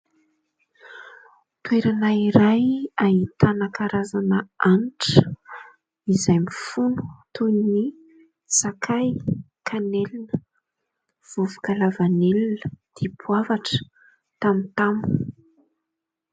Toerana iray ahitana karazana hanitra izay mifono toy ny : sakay, kanelina, vovoka lavanilina, dipoavatra, tamotamo.